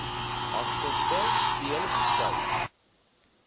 agterste speen gesuig